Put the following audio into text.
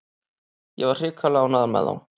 Ég var hrikalega ánægður með þá.